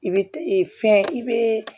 I bɛ e fɛn i bɛ